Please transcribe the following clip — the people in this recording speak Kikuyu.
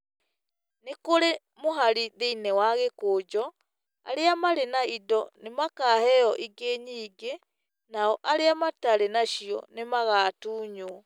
Nĩ kũrĩ mũhari thĩinĩ wa gĩkũnjũ, arĩa marĩ na indo nĩ makaheo ingĩ nyingĩ, nao arĩa matarĩ nacio nĩ magatunywo.